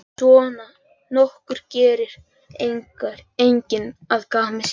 Svona nokkuð gerir enginn að gamni sínu.